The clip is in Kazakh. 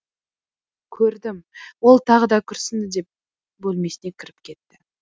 көрдім ол тағы да күрсінді де бөлмесіне кіріп кетті